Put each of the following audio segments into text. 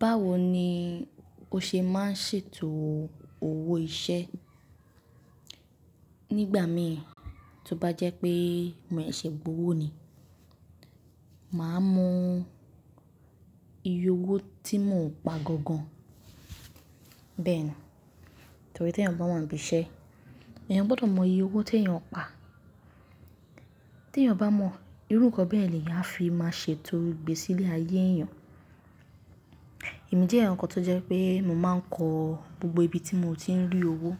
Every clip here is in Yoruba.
Báwo ni o ṣe máa ń ṣètò owó iṣẹ́? Nígbà mìí, tó bá jẹ́ pé mo seṣe gbowò ni, màá mọ iye owó tí mo ń pa gangan. Bẹ́ẹ̀ ni, torí tí èèyàn bá wà níbi iṣẹ́, èèyàn gbọ́dọ̀ mọ iye owó tí èèyàn ń pa. Tí èèyàn bá mọ, irú nǹkan bẹ́ẹ̀ yen ni eeyan a fi máa ṣètò igbe sílé ayé èèyàn. Ẹ̀mí jẹ́ ẹ̀eyan kan tó jẹ́ pé mo máa ń kọ gbogbo ibi tí mo ti ń rí owó.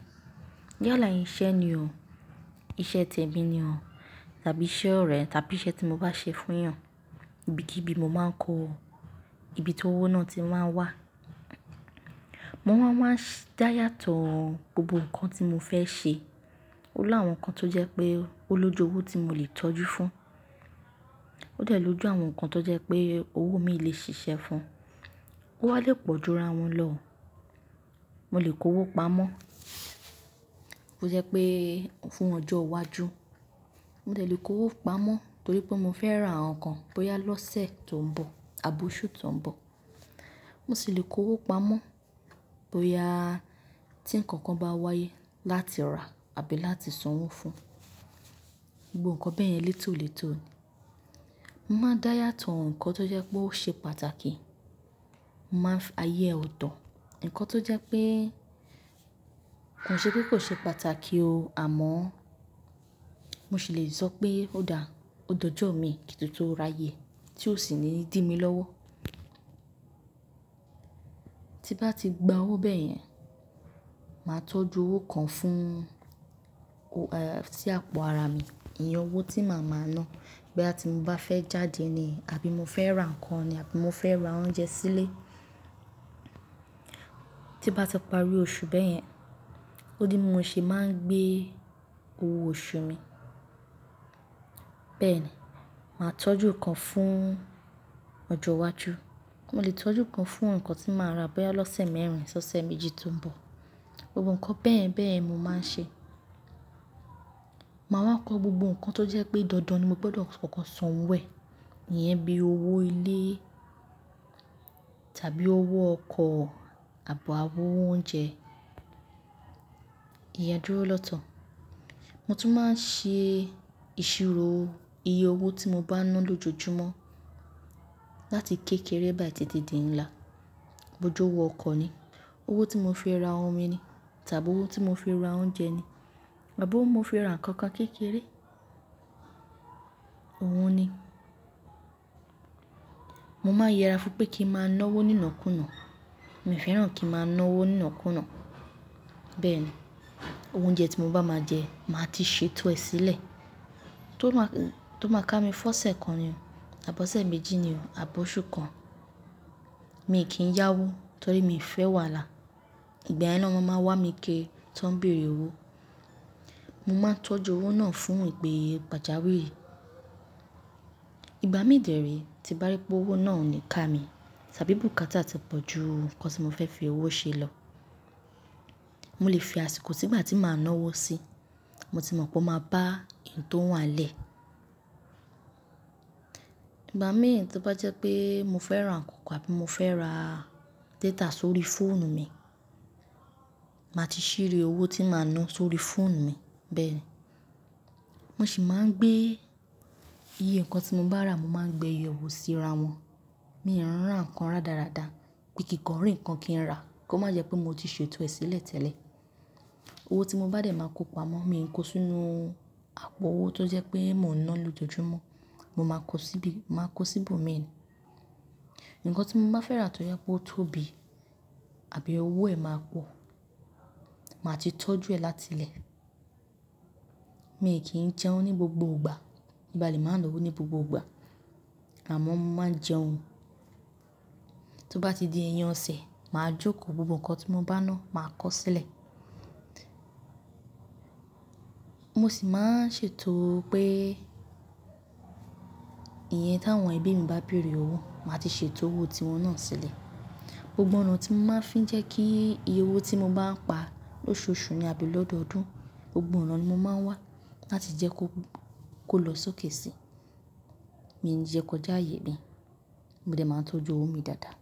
Yálà iṣẹ́ ni o, iṣẹ́ tẹ́mi ni o, tàbí iṣẹ́ ọ̀rẹ́ tàbí iṣẹ́ tí mo bá ṣe fún èèyàn, ibi kí ibi mo máa ń kọ ibi tó owó náà ti máa n wà. Mo máa ń wá dayàtọ̀ gbogbo nǹkan tí mo fẹ́ ṣe. Ó ni àwọn nǹkan tó jẹ́ pé ó lójú owó tí mo lè tọ́jú fún. Ó de lò jú àwọn nǹkan tó jẹ́ pé owó mi lè ṣiṣẹ́ fún. Ó wá lè pọ̀jú ra wọn lọ. Mo lè kó owó pamọ́, bó je pé fún ọjọ́ iwájú. Mo dè lè kó owó pamọ́ torí pé mo fẹ́ ra àwọn nǹkan bóyá lọ́sẹ̀ tó ń bọ̀ àbọ́ oṣù tó ń bọ̀. Mo sì lè kó owó pamọ́ bóyá tí ǹnkan kan bá wáyé láti rà àbí láti san owó fún. Gbogbo nǹkan bẹ́ẹ̀ yẹn létòlètò ni. Mo máa n dá yàtọ̀ ǹnkan tó jẹ́ pé ó ṣe pàtàkì. Mo máa ń fi ayé e ọ̀tọ̀. Ǹnkan tó jẹ́ pé kò ṣe pé kò ṣe pàtàkì o, àmọ́ mo sì lè sọ pé ó dà, ó dojoọ̀ mi ki to tun ráyè tí ó sì ní dímilọ́wọ́. Tí bá ti gba owó bẹ́ẹ̀ yẹn, màá tọ́jú owó kan fún, si àpò ara mi. Iyen owó tí màá máa ná boya tí mo bá fẹ́ jáde ni àbí mo fẹ́ ra nǹkan ni àbí mo fẹ́ ra oúnjẹ sílé. Tí n bá ti parí oṣù bẹ́ẹ̀ yẹn, ó ni bi mo ṣe máa ń gbé owó oṣù mi. Bẹ́ẹ̀ ni, màá tọ́jú ikan fún ọjọ́ iwájú. Mo lè tọ́jú ikan fún nǹkan tí màá rà bóyá lọ́sẹ̀ mẹ́rin, si ọ́sẹ̀ méjì tó ń bọ̀. Gbogbo nǹkan bẹ́ẹ̀ yen bẹ́ẹ̀ yen ni mo máa ń ṣe. Maa wá kọ gbogbo nǹkan tó jẹ́ pé dandan ni mo gbọ́dọ̀ kọ̀ko sanwò ẹ̀. Iyẹn bíi owó ilé tàbí owó ọkọ̀ àbọ́ owó oúnjẹ. Ìyen dúró lọ́tọ̀. Mo tún máa ń ṣe ìṣirò iye owó tí mo bá ń ná lójoojúmọ́ láti kékeré báyìí títí di ńlá. Òjò owó ọkọ̀ ni, owó tí mo fi ra omi ni tàbí owó tí mo fi ra oúnjẹ ni àbọ́ owó mo fi ra ǹnkan kan kékeré, òhun ni. Mo máa ń yẹra fún pé kí n máa ná owó nínàkúnà. Mi fẹ́ràn kí n máa ná owó nínàkúnà. Bẹ́ẹ̀ni, owo oúnjẹ tí mo bá máa jẹ, màá ti ṣètò ẹ sílẹ̀ tó máa, tó máa ká mi fọ́ṣẹ kan ni o àbọ́ ṣẹ́ méjì ni o àbọ́ oṣù kan. Mi kì í yá owó torí mii fẹ́ wàhálà, ìgbà yen ló n máa maa wá mi kiri tó ń bèèrè owó. Mo máa ń tọ́jú owó náà fún ìpè gbàjàwé. Ìgbà mí dèré tí n bá rí pé owó náà ò ní ká mi tàbí bùkátà ti pọ̀ ju ǹnkan tí mo fẹ́ fi owó ṣe lọ, mo lè fi àsìkò si ìgbà tí màá ná owó sí. Mo ti mọ̀ pé ó máa bá ǹ tó wà n lẹ́. Ìgbà míi tó bá jẹ́ pé mo fẹ́ ra ǹnkan kan àbí mo fẹ́ ra data sórí fóònù mi, màá ti ṣìrí owó tí màá ná sórí fóònù mi. Bẹ́ẹ̀ ni, mo sì máa ń gbé iye ǹnkan tí mo bá rà, mo máa ń gbé yewo síra wọn. Mi ò ran ǹnkan rádaràda pé kí ǹ kan rí ǹnkan kí n rà kó má jẹ́ pé mo ti ṣètò ẹ sílẹ̀ tẹ́lẹ̀. Owó tí mo bá dé máa kó pamọ́, mi ò ń kó sínú àpò owó tó jẹ́ pé mo ń ná lójoojúmọ́. Mo máa kó síbi, màá kó sí ibòmíi ni. Ǹnkan tí mo bá fẹ́ rà tó je pé ó tóbi àbí owó ẹ̀ máa pọ̀, màá ti tọ́jú ẹ láti ilẹ̀. Mi kì í jẹun ní gbogbo ìgbà. Mo ba lè máa ná owó ní gbogbo ìgbà àmọ́ mo máa ń jẹun. Tí ó bá ti di ẹyin ọ̀sẹ̀, màá jókòó gbogbo nǹkan tí mo bá ná, màá kó sílẹ̀. Mo sì máa ń ṣètò pé iye tí àwọn ẹbí mi bá bèèrè owó, màá ti ṣètò owó tí wọn náà sílẹ̀. Gbogbo ọ̀nà tí mo máa ń fi jẹ́ kí iye owó tí mo bá ń pa lóṣooṣù ni àbí lọ́dọdún, gbogbo ọ̀nà ni mo máa ń wá láti jẹ́ kó, kó lọ sókè si. Mii n jẹ́ kó já ààyè mi. Mo de máa n tọ́jú owó mi dáadáa.